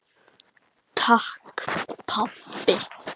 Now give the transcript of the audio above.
Takk pabbi.